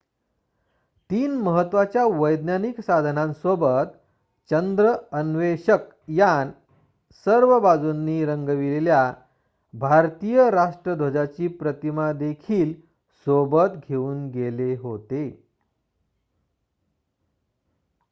3 महत्त्वाच्या वैज्ञानिक साधनांसोबत चंद्र अन्वेषक यान सर्व बाजूंनी रंगविलेल्या भारतीय राष्ट्र ध्वजाची प्रतिमा देखील सोबत घेऊन गेले होते